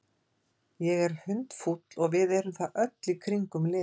Ég er hundfúll og við erum það öll í kringum liðið.